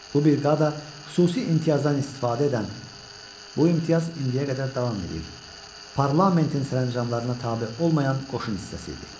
Bu briqada xüsusi imtiyazdan istifadə edən (bu imtiyaz indiyə qədər davam edir) parlamentin sərəncamlarına tabe olmayan qoşun hissəsi idi.